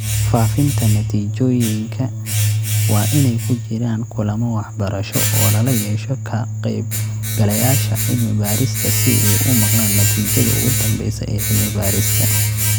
Faafinta natiijooyinka waa inay ku jiraan kulamo waxbarasho oo lala yeesho ka qaybgalayaasha cilmi-baarista si ay u maqlaan natiijada ugu dambeysa ee cilmi-baarista